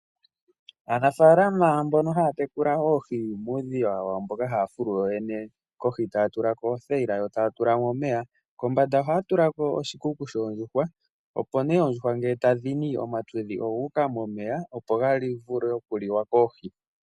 Aanafalama mbono haya tekula oohi muudhiya wawo mboka haya fulu yooyene, kohi taya tulako othayila, yo taya tulamo omeya, kombanda ohaya tulako oshikuku shoondjuhwa, opo nee oondjuhwa ngele tadhini, omatudhi oguuka momeya, opo gavule okuliwa koohi.